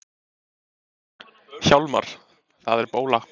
Hjálmar, það er bóla!